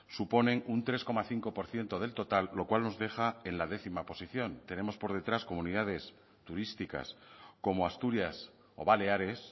suponen un tres coma cinco por ciento del total lo cual nos deja en la décima posición tenemos por detrás comunidades turísticas como asturias o baleares